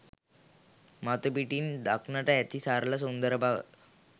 මතුපිටින් දක්නට ඇති සරල සුන්දර බව